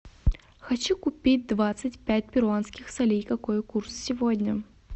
хочу купить двадцать пять перуанских солей какой курс сегодня